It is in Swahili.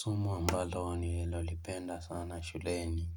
Somo ambalo ninalo lipenda sana shuleni